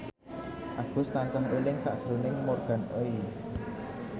Agus tansah eling sakjroning Morgan Oey